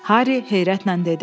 Harri heyrətlə dedi: